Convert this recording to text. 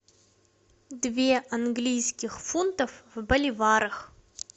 две английских фунтов в боливарах